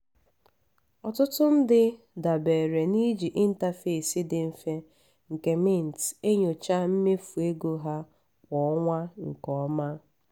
ọtụtụ ndị dabeere n'iji interface dị mfe nke mint enyochaa mmefu ego ha kwa ọnwa nke ọma.